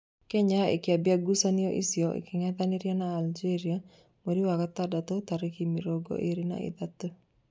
Kenya ĩkambĩa ngucanio icio ĩkĩngethanĩra na Ageria mweri wa gatandatũ tarĩki mĩrongo ĩrĩ na ithatũ.